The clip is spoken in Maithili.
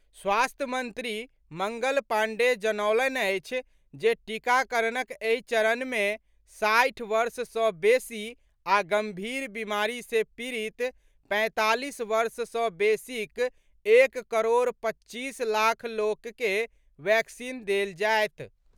स्वास्थ्य मंत्री मंगल पाण्डेय जनौलनि अछि जे टीकाकरणक एहि चरण मे साठि वर्ष सॅ बेसी आ गंभीर बीमारी से पीड़ित पैंतालीस वर्ष सॅ बेसीक एक करोड़ पच्चीस लाख लोक के वैक्सीन देल जायत।